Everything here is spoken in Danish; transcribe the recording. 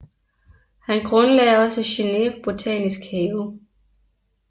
Han grundlagde også Genève Botanisk Have